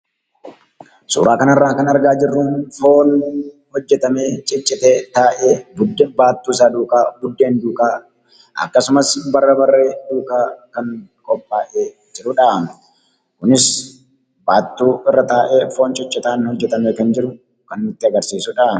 Suuraan kanarraa kan argaa jirruu foon hojjetamee ciccitee taa'ee buddeen baattu isaa duukaa buddeen duukaa akkasumas barbarree duukaa kan qophaa'ee jirudhaa Kunis baattuu irra taa'ee foon ciccitaan hojjetamee kan jiru kan Nutti agarsiisudhaa.